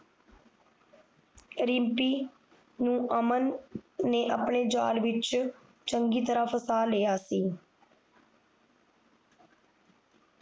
ਰਿਮਪੀ ਨੂੰ ਅਮਨ ਨੇ ਆਪਣੇ ਜਾਲ ਵਿੱਚ ਚੰਗੀ ਤਰਾਂ ਫਸਾ ਲਿਆ ਸੀ